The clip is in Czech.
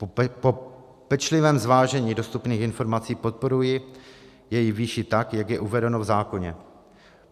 Po pečlivém zvážení dostupných informací podporuji jejich výši tak, jak je uvedeno v zákoně.